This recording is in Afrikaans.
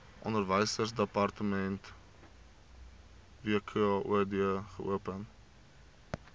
onderwysdepartement wkod geopen